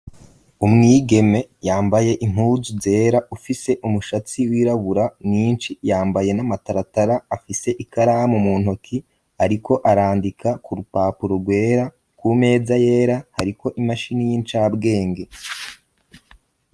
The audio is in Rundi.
Umwigeme yambaye impuzu zera, afise umushatsi wirabura mwinshi, yambaye n'amataratara, afise ikaramu mu ntoki, ariko arandika ku rupapuro rwera, ku meza yera hariko imashini y'incabwenge.